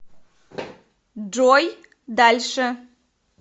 джой дальше